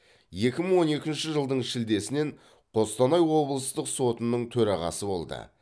екі мың он екінші жылдың шілдесінен қостанай облыстық сотының төрағасы болды